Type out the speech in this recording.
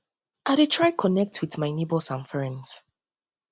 i dey try to connect with my neighbors and friends